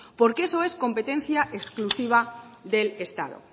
porque eso es competencia exclusiva del estado